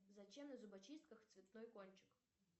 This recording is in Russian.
зачем на зубочистках цветной кончик